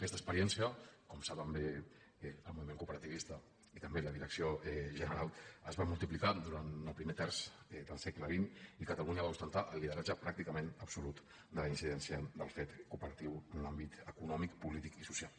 aquesta experiència com saben bé el moviment cooperativista i també la direcció general es va multiplicant durant el primer terç del segle xx i catalunya va ostentar el lideratge pràcticament absolut de la incidència del fet cooperatiu en l’àmbit econòmic polític i social